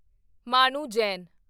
Manu Jain